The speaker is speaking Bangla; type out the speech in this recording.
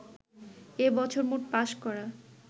এ বছর মোট পাস করা